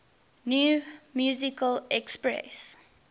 new musical express